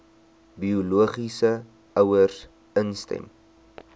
biologiese ouers instem